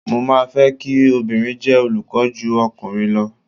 Mo máa fẹ́ kí obìnrin jẹ́ olùkọ́ ju ọkùnrin lọ.